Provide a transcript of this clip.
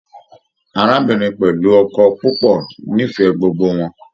Arábìnrin pẹlú ọkọ púpọ n'ifẹ gbogbo wọn.